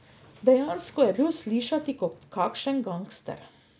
Dejansko je bil slišati kot kakšen gangster.